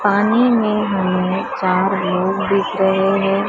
पानी में हमें चार लोग दिख रहे हैं।